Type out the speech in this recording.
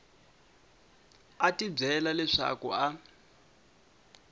a tibyela leswaku a a